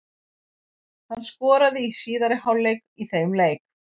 Hann skoraði í síðari hálfleik í þeim leik.